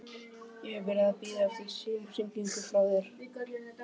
Ég hef verið að bíða eftir símhringingu frá þér.